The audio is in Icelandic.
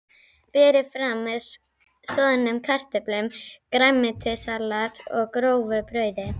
Berið fram með soðnum kartöflum, grænmetissalati og grófu brauði.